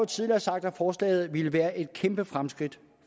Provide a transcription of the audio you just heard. tidligere sagt at forslaget ville være et kæmpe fremskridt